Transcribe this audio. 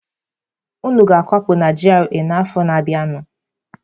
Unu ga-akwapụ na GRA a n'afọ na-abịanụ!